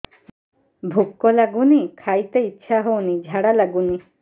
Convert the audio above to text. ଭୁକ ଲାଗୁନି ଖାଇତେ ଇଛା ହଉନି ଝାଡ଼ା ଲାଗୁନି